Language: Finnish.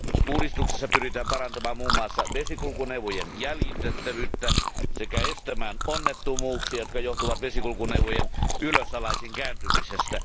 Uudistuksessa pyritään parantamaan muun muassa vesikulkuneuvojen jäljitettävyyttä sekä estämään onnettomuuksia, jotka johtuvat vesikulkuneuvojen ylösalaisin kääntymisestä.